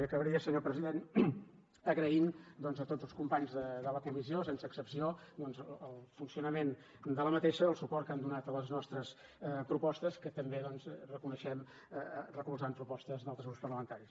i acabaria senyor president agraint doncs a tots els companys de la comissió sense excepció doncs el funcionament d’aquesta el suport que han donat a les nostres propostes que també doncs reconeixem recolzant propostes d’altres grups parlamentaris